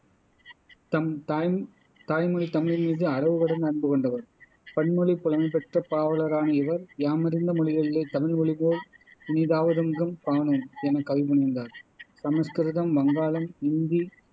தம் தாய் தாய்மொழி தமிழின்மீது அளவுகடந்த அன்புகொண்டவர் பன்மொழிப் புலமைபெற்ற பாவலரான இவர் யாமறிந்த மொழிகளிலே தமிழ்மொழிபோல் இனிதாவ தெங்கும் காணோம் எனக் கவிபுனைந்தார் சமஸ்கிருதம், வங்காளம், இந்தி